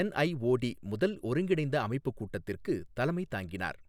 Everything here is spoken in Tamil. என்ஐஓடி முதல் ஒருங்கிணைந்த அமைப்பு கூட்டத்திற்கு தலைமை தாங்கினார்.